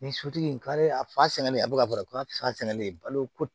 Ni sotigi kari a fasɛnnen a bɛ ka kɔrɔ ko a fa sɛnnen balo ko